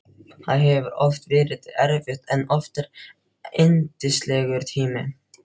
Það hefur oft verið erfitt en oftar yndislegur tími.